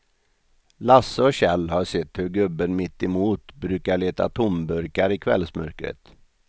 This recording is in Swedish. Lasse och Kjell har sett hur gubben mittemot brukar leta tomburkar i kvällsmörkret.